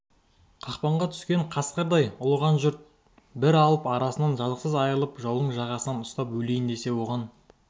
қақпанға түскен қасқырдай ұлыған жұрт бір алып арысынан жазықсыз айырылып жаудың жағасынан ұстап өлейін десе оған